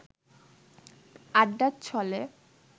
আড্ডার ছলে